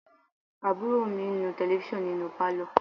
Àbúrò mi ń nu Tẹlifísàn nínú pálọ̀